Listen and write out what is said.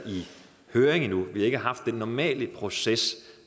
høring endnu vi har ikke haft den normale proces